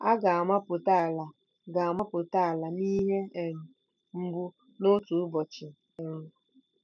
À ga-amụpụta ala ga-amụpụta ala n'ihe um mgbu n'otu ụbọchị um?